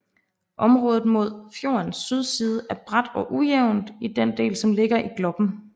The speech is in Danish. Området mod fjordens sydside er brat og ujævnt i den del som ligger i Gloppen